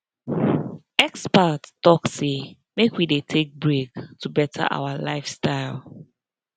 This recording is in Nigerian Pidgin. experts talk say make we dey take break to better our lifestyle